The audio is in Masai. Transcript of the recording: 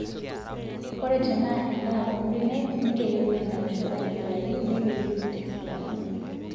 Ore tenaa endaa oombenek nigelu enaishio aitobiraki neipilipil tesidano.